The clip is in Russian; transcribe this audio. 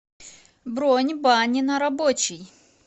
бронь бани на рабочей